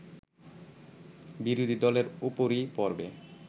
বিরোধী দলের উপরই পড়বে